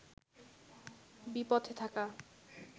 বিপথে থাকা